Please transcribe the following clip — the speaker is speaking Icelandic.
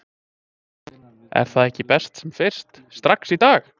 Er það ekki best sem fyrst, strax í dag??